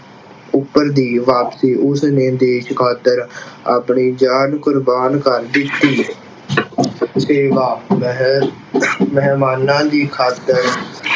ਉੱਪਰ ਦੀ ਵਾਪਸੀ ਉਸਨੇ ਦੇਸ਼ ਖਾਤਰ ਆਪਣੀ ਜਾਨ ਕੁਰਬਾਨ ਕਰ ਦਿੱਤੀ। ਸੇਵਾ ਮਹਿ ਅਹ ਮਹਿਮਾਨਾਂ ਦੀ ਖਾਤਰ